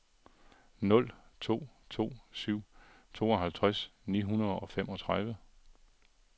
nul to to syv tooghalvtreds ni hundrede og femogtredive